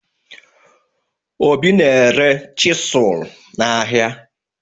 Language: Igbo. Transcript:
Obi na-ere chisụl n'ahịa